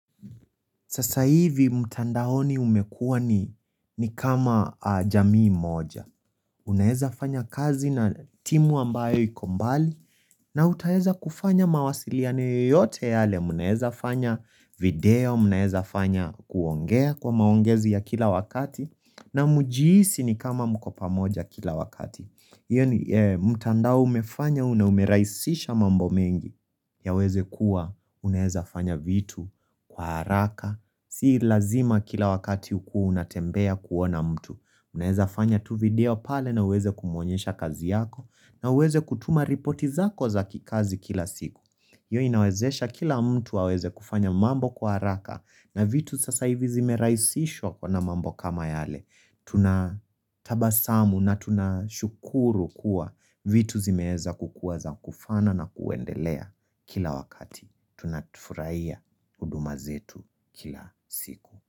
Sasa hivi, mtandaoni umekua ni kama jamii moja. Unaeza fanya kazi na timu ambayo iko mbali. Na utaeza kufanya mawasiliano yoyote yale. Unaeza fanya video, unaeza fanya kuongea kwa maongezi ya kila wakati. Na mjihisi ni kama mko pamoja kila wakati. Iyo ni mtandao umeraisisha mambo mengi. Yaweze kuwa, unaeza fanya vitu kwa haraka Si lazima kila wakati ukuwe unatembea kuona mtu Unaeza fanya tu video pale na uweze kumwonyesha kazi yako na uweze kutuma ripoti zako za kikazi kila siku hiyo inawezesha kila mtu aweze kufanya mambo kwa haraka na vitu sasa hivi zimeraisishwa kwa mambo kama yale Tuna tabasamu na tunashukuru kuwa vitu zimeeza kukua za kufana na kuendelea Kila wakati tunafuraia huduma zetu kila siku.